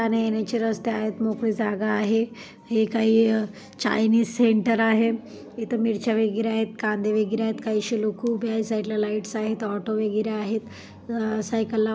जाणे-येण्याचे रस्ते आहेत मोकळी जागा आहे हे काय चाईनीज सेंटर आहे इथं मिरच्या वगैरे आहेत कांदे वगैरे आहेत काहि असे लोकं उभे आहेत साइड ला लाइट्स आहेत ऑटो वगैरे आहेत अ सायकल लावाय--